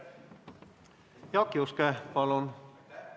Jaak Juske, palun!